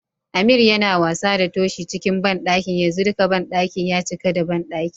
Ameer Yana wasa da Toshi cikin banɗaki yanzu dika banɗakin ya cika da banɗaki.